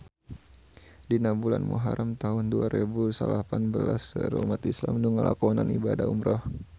Dina bulan Muharam taun dua rebu salapan belas seueur umat islam nu ngalakonan ibadah umrah